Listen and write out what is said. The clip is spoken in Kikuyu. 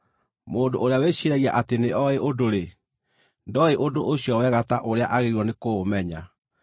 Mũndũ ũrĩa wĩciiragia atĩ nĩoĩ ũndũ-rĩ, ndooĩ ũndũ ũcio wega ta ũrĩa aagĩrĩirwo nĩ kũũmenya.